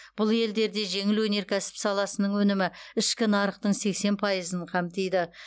бұл елдерде жеңіл өнеркәсіп саласының өнімі ішкі нарықтың сексен пайызын қамтиды